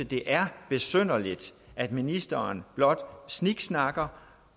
det er besynderligt at ministeren blot sniksnakker